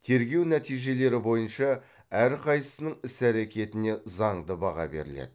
тергеу нәтижелері бойынша әрқайсысының іс әрекетіне заңды баға беріледі